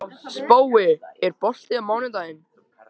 Spói, er bolti á mánudaginn?